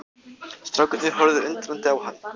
Strákarnir horfðu undrandi á hann.